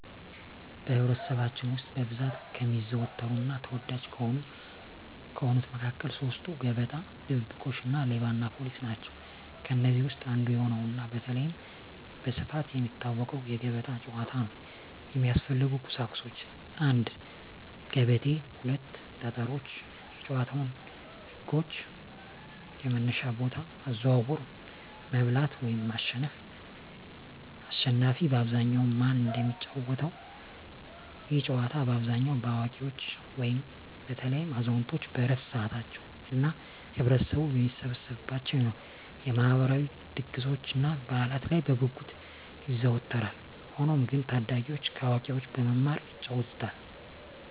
በኅብረተሰባችን ውስጥ በብዛት ከሚዘወተሩና ተወዳጅ ከሆኑት መካከል ሦስቱ፤ ገበጣ፣ ድብብቆሽ እና ሌባና ፖሊስ ናቸው። ከእነዚህ ውስጥ አንዱ የሆነውና በተለይም በስፋት የሚታወቀው የገበጣ ጨዋታ ነው። የሚያስፈልጉ ቁሳቁሶች 1; ገበቴ 2; ጠጠሮች የጨዋታው ህጎች - የመነሻ ቦታ፣ አዘዋወር፣ መብላት (ማሸነፍ)፣አሽናፊ በአብዛኛው ማን እንደሚጫወተው፤ ይህ ጨዋታ በአብዛኛው በአዋቂዎች (በተለይም አዛውንቶች በዕረፍት ሰዓታቸው) እና ህብረተሰቡ በሚሰበሰብባቸው የማህበራዊ ድግሶችና በዓላት ላይ በጉጉት ይዘወተራል። ሆኖም ግን ታዳጊዎችም ከአዋቂዎች በመማር ይጫወቱታል።